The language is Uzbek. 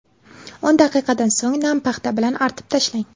O‘n daqiqadan so‘ng nam paxta bilan artib tashlang.